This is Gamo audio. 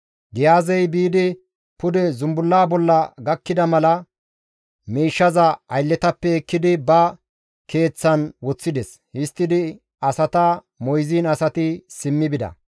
Giyaazey biidi pude zumbulla bolla gakkida mala miishshaza aylletappe ekkidi ba keeththan woththides; histtidi asata moyziin asati simmi bida.